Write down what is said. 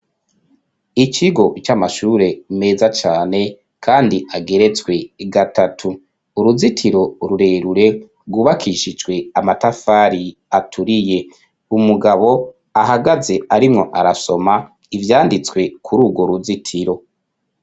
Ikigo, c'amashure meza cane, kandi ageretswe gatatu; uruzitiro rurerure, rwubakishijwe, amatafari aturiye; umugabo ahagaze, arimwo arasoma, ivyanditswe, kuri urwo ruzitiro.